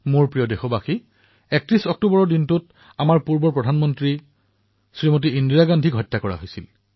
মোৰ মৰমৰ দেশবাসীসকল ৩১ অক্টোবৰ তাৰিখে আমাৰ দেশৰ প্ৰাক্তন প্ৰধানমন্ত্ৰী শ্ৰীমতী ইন্দিৰাজীক হত্যা কৰা হৈছিল